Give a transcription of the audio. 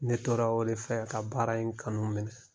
Ne tora o de fɛ ka baara in kanu minɛ